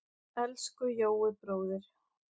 Elsku Jói bróðir.